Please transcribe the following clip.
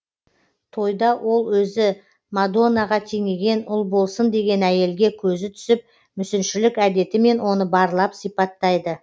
тойда ол өзі мадонаға теңеген ұлболсын деген әйелге көзі түсіп мүсіншілік әдетімен оны барлап сипаттайды